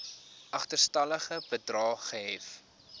agterstallige bedrae gehef